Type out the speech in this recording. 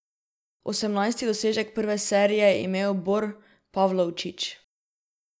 Osemnajsti dosežek prve serije je imel Bor Pavlovčič.